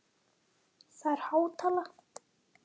Það er há tala?